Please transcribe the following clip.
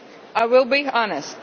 I will be honest.